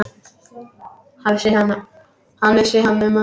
Hvað vissi hann um hana?